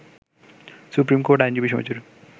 supreme court আইনজীবী সমিতির